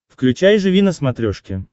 включай живи на смотрешке